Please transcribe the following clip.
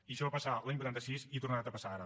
i això va passar l’any vuitanta sis i ha tornat a passar ara